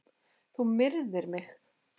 Þú myrðir mig!